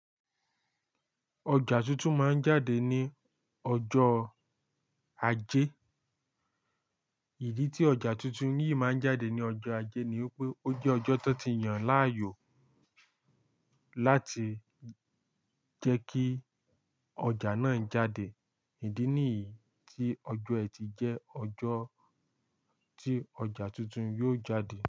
Ọjà tuntun máa ń jáde ní ọjọ́ ajé. Ìdí tí ọjà tuntun yìí máa ń jáde ní ọjọ́ ajé ni wípé ó jẹ́ ọjọ́ tó ti yàn láàyò láti jẹ́ kí ọjà náà jáde. Ìdí nìyí tí ọjọ́ ẹtì jẹ́ ọjọ́ tí ọjà tuntun yóò jáde.